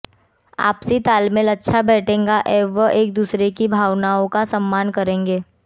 आपसी तालमेल अच्छा बैठेगा एवं एक दूसरे की भावनाओं का सम्मान करेंगे